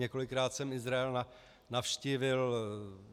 Několikrát jsem Izrael navštívil.